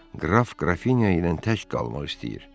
Qraf Qrafinya ilə tək qalmaq istəyir.